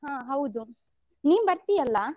ಹ ಹೌದು ನೀನು ಬರ್ತೀಯಲ್ಲಾ?